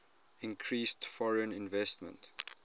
increased foreign investment